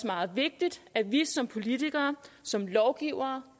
meget vigtigt at vi som politikere og som lovgivere